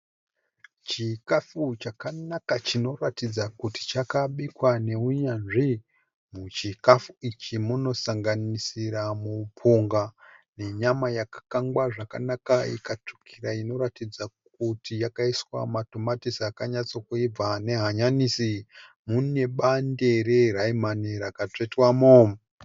Chikafu chakanaka chinoratidza kuti chakabikwa nehunyanzvi. Muchikafu ichi munosanganisira mupunga ne nyama yakakangwa zvakanaka ikatsvukira inoratidza kuti yakaiswa matomatisi akanyatsokuibva nehanyanisi mune Bande reraimani rakatsvetwamo